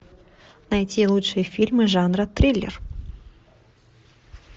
найти лучшие фильмы жанра триллер